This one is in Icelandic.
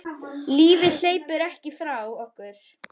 Lífið hleypur ekki frá okkur.